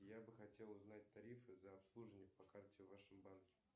я бы хотел узнать тарифы за обслуживание по карте в вашем банке